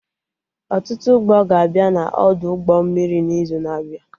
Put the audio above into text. Ọtụtụ ụgbọ ga-abịa na Ọdụ ụgbọ mmiri n'izu na-abịa